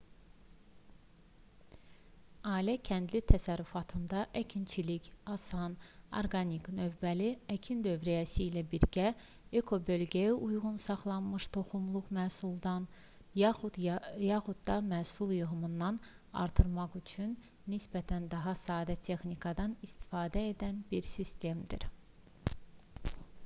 ailə-kəndli təsərrüfatında əkinçilik asan orqanik növbəli əkin dövriyyəsi ilə birgə ekobölgəyə uyğun saxlanmış toxumluq məhsuldan yaxud da məhsul yığımını artırmaq üçün nisbətən daha sadə texnikadan istifadə edən bir sistemdir